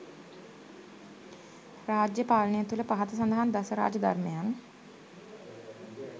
රාජ්‍ය පාලනය තුළ පහත සඳහන් දස රාජ ධර්මයන්